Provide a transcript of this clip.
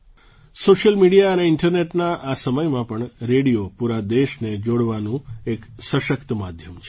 social media અને ઇન્ટરનેટના આ સમયમાં પણ રેડિયો પૂરા દેશને જોડવાનું એક સશક્ત માધ્યમ છે